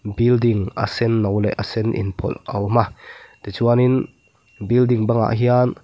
building a senno leh a sen inpawlh a awm a tichuanin building bangah hian--